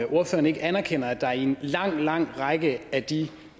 ordføreren ikke anerkender at der i en lang lang række af de